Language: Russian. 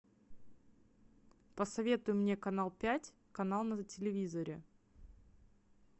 посоветуй мне канал пять канал на телевизоре